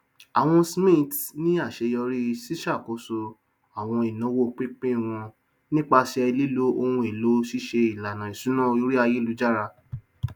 àwọn smiths ní aṣeyọrí siṣàkóso àwọn ináwó pínpín wọn nípasẹ lílo ohun èlò ṣíṣe ìlànà ìṣúná orí ayélujára